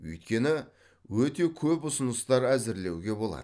өйткені өте көп ұсыныстар әзірлеуге болады